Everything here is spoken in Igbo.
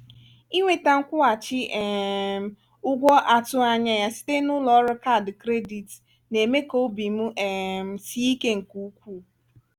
inweta nkwụghachi um ụgwọ a tụghị anya ya site n’ụlọ ọrụ kaadị kredit na-eme ka obi m um sie ike nke ukwuu.